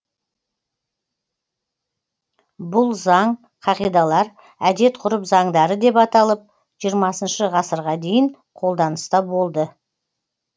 бұл заң қағидалар әдет ғұрып заңдары деп аталып жиырмасыншы ғасырға дейін қолданыста болды